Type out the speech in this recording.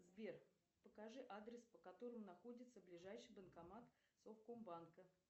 сбер покажи адрес по которому находится ближайший банкомат совкомбанка